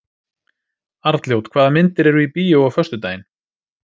Arnljót, hvaða myndir eru í bíó á föstudaginn?